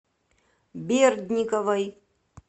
бердниковой